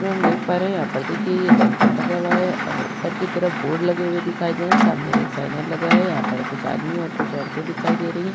इसमें हम देख पा रहे हैं यहाँ पर देखिए ये काउंटर बना हुआ है और ऊपर की तरफ बोर्ड लगे हुए दिखाई दे रहे हैं। सामने एक चैनल लगा है यहाँ पर कुछ आदमी और कुछ औरते दिखाई दे रही हैं।